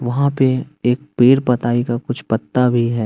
वहां पे एक पेड़ पताई का कुछ पत्ता भी है।